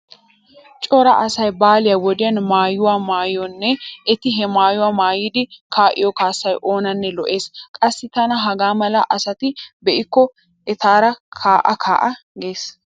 Cora asay baale wodiyan maayiyo maayonne eti he maayuwa maayidi kaa'iyo kaassay oonanne lo'ees. Qassi tana hagaa mala asata be'kko etaara kaa'a kaa'a gees.